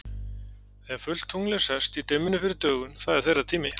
Þegar fullt tunglið er sest, í dimmunni fyrir dögun, það er þeirra tími.